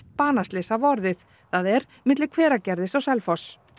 banaslys hafa orðið það er milli Hveragerðis og Selfoss